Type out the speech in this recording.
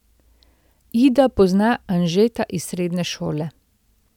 Ida pozna Anžeta iz srednje šole.